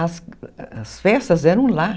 As festas eram lá.